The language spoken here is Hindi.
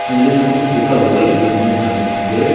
इंग्लिश कुछ लिखा हुआ है एक बिल्डिंग टाइप की है।